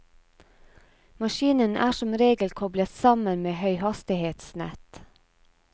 Maskinene er som regel koblet sammen med høyhastighetsnett.